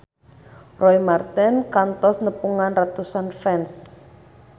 Roy Marten kantos nepungan ratusan fans